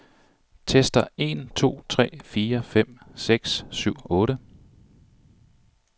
Tester en to tre fire fem seks syv otte.